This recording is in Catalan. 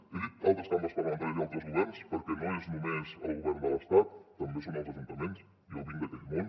he dit altres cambres parlamentàries i altres governs perquè no és només el govern de l’estat també són els ajuntaments jo vinc d’aquell món